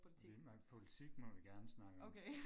Vi politik må vi godt snakke om